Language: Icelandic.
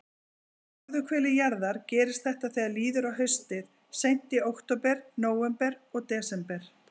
Á norðurhveli jarðar gerist þetta þegar líður á haustið, seint í október, nóvember og desember.